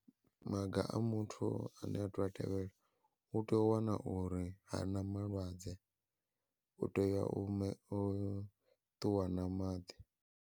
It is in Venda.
Maga a muthu ane a to a tevhela, u tea u wana uri ha na malwadze u tea u ṱuwa na maḓi.